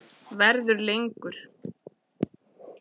Verður lengur.